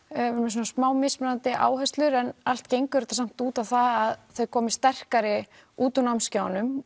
svona smá mismunandi áherslur en allt gengur þetta samt út á það að þau komi sterkari út úr námskeiðunum